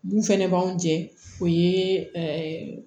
Mun fɛnɛ b'anw jɛ o ye ɛɛ